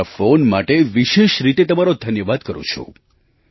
હું તમારા ફૉન માટે વિશેષ રીતે તમારો ધન્યવાદ કરું છું